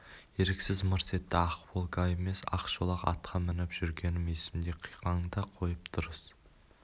еріксіз мырс етті ақ волга емес ақ шолақ атқа мініп жүргенім есімде қиқаңды қойып дұрыс